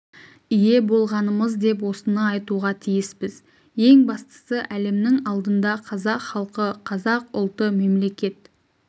ие болғанымыз деп осыны айтуға тиіспіз ең бастысы әлемнің алдында қазақ халқы қазақ ұлты мемлекет